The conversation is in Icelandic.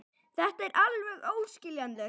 Þetta er alveg óskiljanlegt.